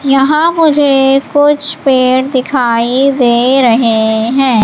यहां मुझे कुछ पेड़ दिखाई दे रहें हैं।